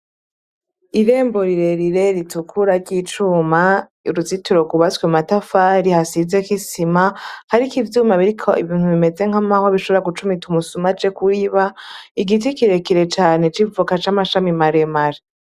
Irembo rire rire ritukura ry' icuma, uruzitiro gw' ubatswe mumatafari hasizeko isima hariko ivyuma biriko ibintu bimeze nk'amahwa bishobora gucumita umusuma aje kwiba igiti kirekire cane c'ivoka c'amashami mare mare.